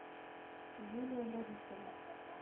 юлия борисова